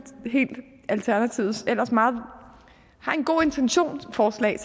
alternativets ellers meget gode intention til forslag